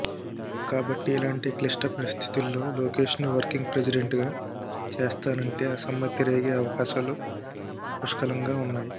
కాబట్టి ఇలాంటి క్లిష్ట పరిస్థితుల్లో లోకేష్ ను వర్కింగ్ ప్రెసిడెంట్ గా చేస్తానంటే అసమ్మతి రేగే అవకాశాలు పుష్కలంగా ఉన్నాయి